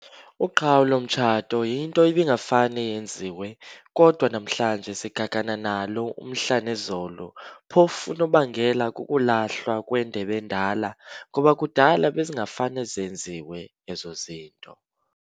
Uqhawulo mtshato yinto ibingafane yenziwe, kodwa namhlanje sigagana nalo umhla nezolo phofu unobangela kukulahlwa kwendeb'endala, ngoba kudala bezingafane zenziwe ezo zinto.